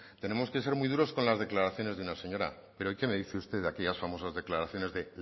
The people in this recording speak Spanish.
tenemos que ser muy duros con las declaraciones de una señora pero y qué me dice usted de aquellas famosas declaraciones de